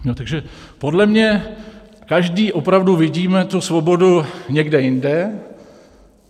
Takže podle mě každý opravdu vidíme tu svobodu někde jinde.